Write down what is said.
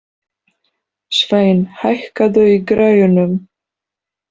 Sveinn, hækkaðu í græjunum.